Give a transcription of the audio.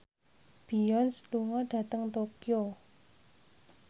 Beyonce lunga dhateng Tokyo